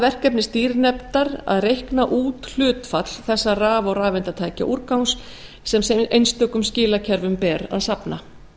verkefni stýrinefndar að reikna út hlutfall þessa raf og rafeindatækjaúrgang sem einstökum skilakerfum ber að safna